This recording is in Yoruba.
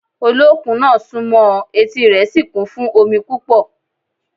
Olókun náà sún mọ́ ọn, etí rẹ̀ sì kún fún omi púpọ̀